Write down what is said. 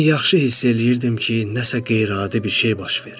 Mən yaxşı hiss eləyirdim ki, nəsə qeyri-adi bir şey baş verir.